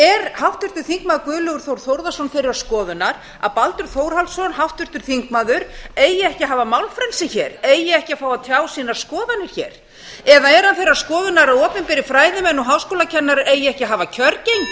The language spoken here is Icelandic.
er háttvirtur þingmaður guðlaugur þór þórðarson þeirrar skoðunar að háttvirtur þingmaður baldur þórhallsson eigi ekki að hafa málfrelsi eigi ekki að fá að tjá sína skoðanir eða er hann þeirrar skoðunar að opinberir fræðimenn og háskólakennarar eigi ekki að hafa kjörgengi